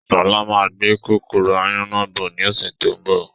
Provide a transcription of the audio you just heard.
Sọlá máa gbé kòkòrò áyán náà bọ̀ ni ọ̀sẹ̀ tó ń bọ̀